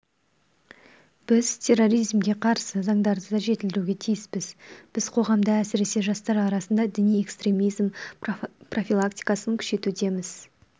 біз терроризмге қарсы заңдарды да жетілдіруге тиіспіз біз қоғамда әсіресе жастар арасында діни экстремизм профилактикасын күшейтуіміз